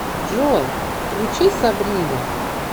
джой включи сабрина